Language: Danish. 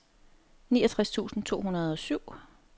niogtres tusind to hundrede og syv